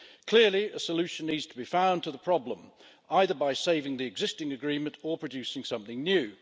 Clearly, a solution needs to be found to the problem, either by saving the existing agreement or producing something new.